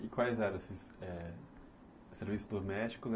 E quais eram esses eh serviços doméstico